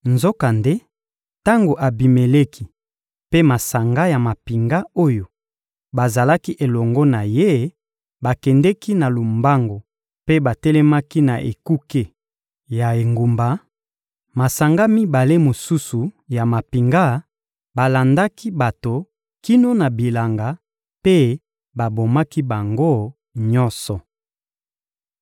Nzokande, tango Abimeleki mpe masanga ya mampinga oyo bazalaki elongo na ye bakendeki na lombangu mpe batelemaki na ekuke ya engumba, masanga mibale mosusu ya mampinga balandaki bato kino na bilanga mpe babomaki bango nyonso.